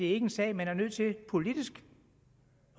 ikke en sag man politisk